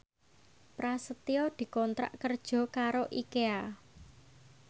Prasetyo dikontrak kerja karo Ikea